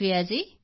Preeti ji